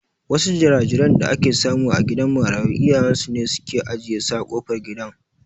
Wasu jira-jiran da ake samu a gidan marayu iyayen su ne suke ajiye su a kofar gidan.